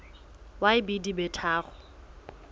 ya b di be tharo